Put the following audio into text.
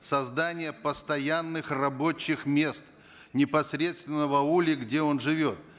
создание постоянных рабочих мест непосредственно в ауле где он живет